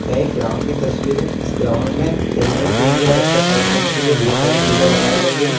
यह एक ग्राउंड की तस्वीर है इस ग्राउंड में खेलने के लिए और एक्सरसाइस करने के लिए बहुत सारी चीजें लगाई गई हैं।